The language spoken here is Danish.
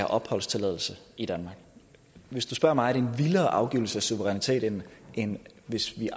opholdstilladelse i danmark hvis du spørger mig er en vildere afgivelse af suverænitet end end hvis vi